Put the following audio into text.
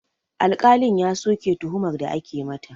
Alƙalin ya soke tuhumar da ake mata